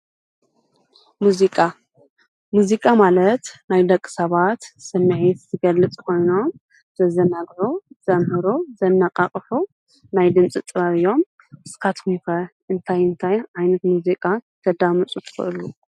ሙዚቃ ፡- ሙዚቃ ማለት ናይ ደቂ ሰባት ስሚዒት ዝገልፅ ኾይኑ ዘዘናግዑ፣ ዘምህሩ፣ ዘናቓቕሑ ናይ ድምፂ ጥበብ እዮም። ንስካትኩም እንታይ እንታይ ዓይነት ሙዚቃ ተዳምጹ ትክእሉ?